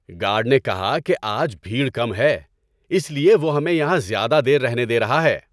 Guard نے کہا کہ آج بھیڑ کم ہے۔ اس لیے وہ ہمیں یہاں زیادہ دیر رہنے دے رہا ہے۔